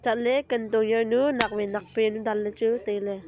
chat ley kam tong yanu nak wai nak yanu dan ley chu tailey.